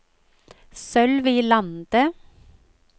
Sølvi Lande